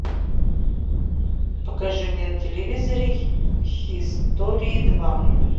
покажи мне на телевизоре хистори два